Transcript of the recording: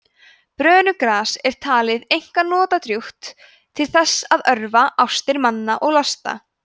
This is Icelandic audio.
brönugras var talið einkar notadrjúgt til þess að örva ástir manna og losta